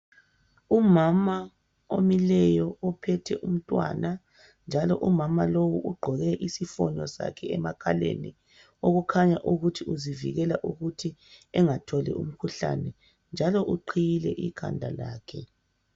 Umama omileyo ophethe umntwana, njalo umama lowu ugqoke isifoni sakhe emakhaleni, okukhanya ukuthi uzikilela ukuthi engatholi umkhuhlane, njalo uqhiyile ikhanda lakhe